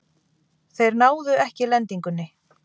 Þeir náðu ekki lendingunni.